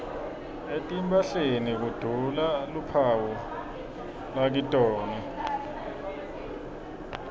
etimphahleni kudula luphawu lakitona